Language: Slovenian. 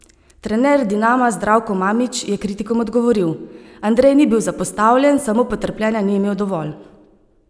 Trener Dinama Zdravko Mamić je kritikom odgovoril: "Andrej ni bil zapostavljen, samo potrpljenja ni imel dovolj.